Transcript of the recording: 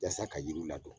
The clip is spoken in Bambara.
Yasa ka yiriw ladon